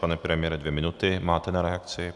Pane premiére, dvě minuty máte na reakci.